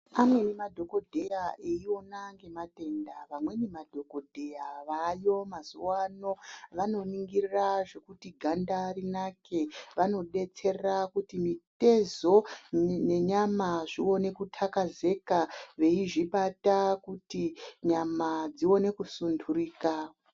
Amweni madhokodhera eiona ngematenda vamweni madhokodheya vaayo mazuwa ano vanoningira zvekuti ganda rinake vanodetsera kuti mutezo nenenyama zvinone kutakazeka veizvibata kuti nyama dzione kusunturika.